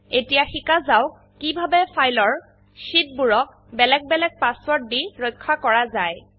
এতিয়া শিকা যাওক কিভাবে ফাইল এৰ শিট বোৰক বেলেগ বেলেগ পাসওয়াৰ্ড দি ৰক্ষা কৰা যায়